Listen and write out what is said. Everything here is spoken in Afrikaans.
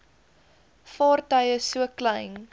vaartuie so klein